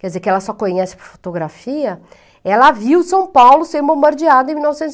quer dizer, que ela só conhece por fotografia, ela viu São Paulo ser bombardeada em mil novecentos e